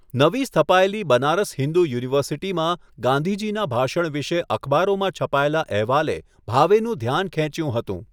નવી સ્થપાયેલી બનારસ હિંદુ યુનિવર્સિટીમાં ગાંધીજીના ભાષણ વિશે અખબારોમાં છપાયેલા અહેવાલે ભાવેનું ધ્યાન ખેંચ્યું હતું.